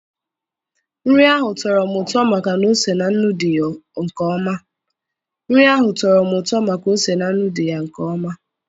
Nri ahụ tọrọ m ụtọ maka na ose na nnu dị ya nke ọma